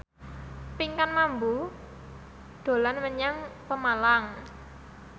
Pinkan Mambo dolan menyang Pemalang